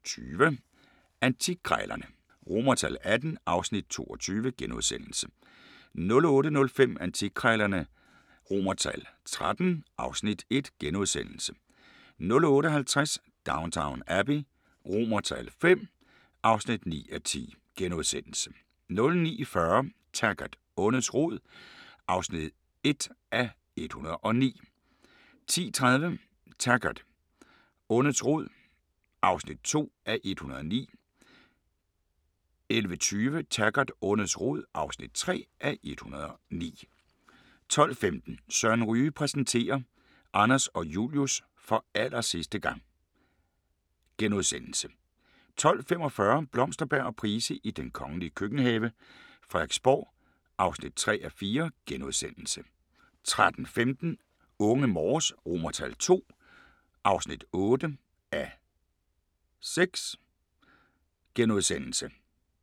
06:20: Dage i haven (Afs. 4) 07:20: Antikkrejlerne XVIII (Afs. 22)* 08:05: Antikkrejlerne XIII (Afs. 1)* 08:50: Downton Abbey V (9:10)* 09:40: Taggart: Ondets rod (1:109) 10:30: Taggart: Ondets rod (2:109) 11:20: Taggart: Ondets rod (3:109) 12:15: Søren Ryge præsenterer: Anders og Julius – for allersidste gang * 12:45: Blomsterberg og Price i den kongelige køkkenhave: Frederiksborg (3:4)* 13:15: Unge Morse II (8:6)*